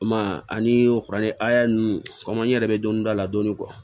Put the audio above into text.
I m'a ye ani furancɛ ninnu kɔmi n yɛrɛ bɛ dɔni dɔn a la dɔɔnin